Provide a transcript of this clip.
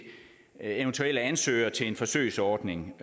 eventuelle ansøgere til en forsøgsordning